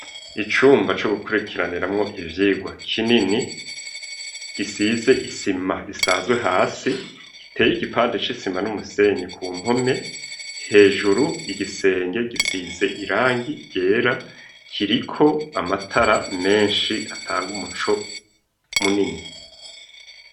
Icumba co gukurikiraniramwo ivyigwa kinini, gisize isima isanzwe hasi, giteye igipande c'isima n'umusenyi ku mpome, hejuru igisenge gisize irangi ryera, kiriko amatara menshi atanga umuco munini.